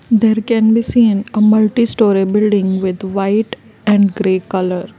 Here can be seen a multI storey building with white and and grey colour.